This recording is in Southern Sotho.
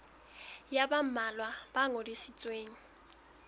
ya ba mmalwa e ngodisitsweng